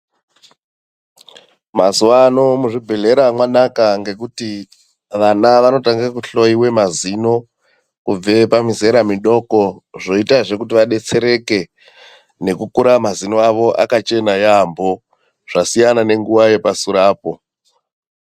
Mazuwano muzvibhedhlera manaka ngekuti vana vanotanga kuhloyiwe mazino kubve pamizera midoko. Zvoita zvekuti vadetsereke nekukura mazino avo akachena yambo. Zvasiyana nenguva yepasure apo.